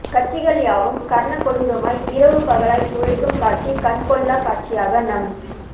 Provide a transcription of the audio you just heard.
கட்சிகள் யாவும் கர்ண கொடூரமாய் இரவு பகலாய் உழைக்கும் காட்சி கண்கொள்ளாக் காட்சியாக நம்